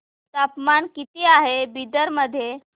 तापमान किती आहे बिदर मध्ये